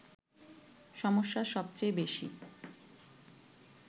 সমস্যা সবচেয়ে বেশি